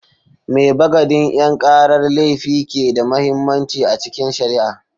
Me bagadin 'yan karar laifi ke da mahimmanci a cikin shari'a?